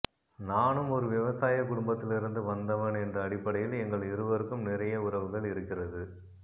நானும் ஒரு விவசாய குடும்பத்திலிருந்து வந்தவன் என்ற அடிப்படையில் எங்கள் இருவருக்கும் நிறைய உறவுகள் இருக்கிறது